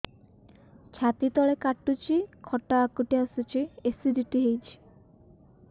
ଛାତି ତଳେ କାଟୁଚି ଖଟା ହାକୁଟି ଆସୁଚି ଏସିଡିଟି ହେଇଚି